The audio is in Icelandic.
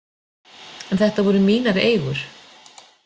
En þetta voru mínar eigur.